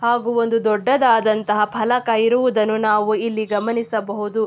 ಹಾಗು ಒಂದು ದೊಡ್ಡದಾದಂತಹ ಫಲಕ ಇರುವುದನ್ನು ನಾವು ಇಲ್ಲಿ ಗಮನಿಸಬಹುದು.